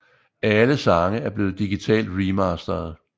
Alle sange er blevet digitalt remastered